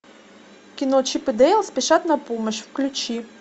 кино чип и дейл спешат на помощь включи